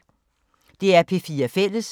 DR P4 Fælles